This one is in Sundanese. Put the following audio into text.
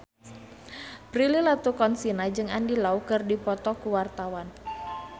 Prilly Latuconsina jeung Andy Lau keur dipoto ku wartawan